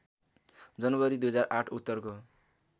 जनवरी २००८ उत्तरको